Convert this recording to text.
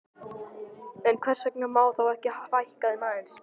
En hvers vegna má þá ekki fækka þeim aðeins?